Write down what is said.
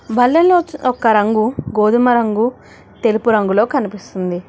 బల్లలో ఒక రంగు గోధుమ రంగు తెలుపు రంగులో కనిపిస్తుంది.